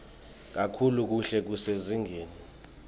kakhulu kuhle kusezingeni